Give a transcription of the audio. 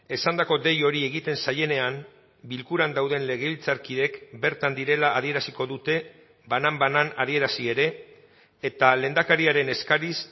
esandako dei hori egiten zaienean bilkuran dauden legebiltzarkideek bertan direla adieraziko dute banan banan adierazi ere eta lehendakariaren eskariz